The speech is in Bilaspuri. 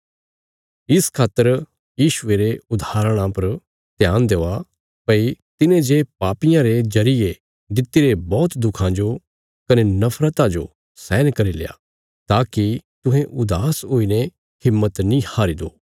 इस खातर यीशुये रे उदाहरणा पर ध्यान देआ भई तिने जे पापियां रे जरिये दित्तिरे बौहत दुखां जो कने नफरता जो सहन करील्या ताकि तुहें उदास हुईने हिम्मत नीं हारी दो